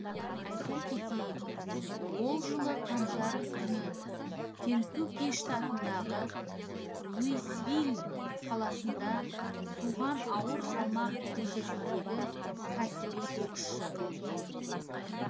айта кетейік ол жылы қаңтар күні кентукки штатындағы луисвилл қаласында туған ауыр салмақ дәрежесіндегі кәсіби боксшы